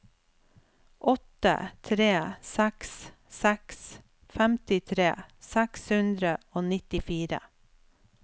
åtte tre seks seks femtitre seks hundre og nittifire